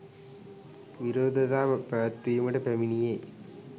විරෝධතා පැවැත්වීමට පැමිණියේ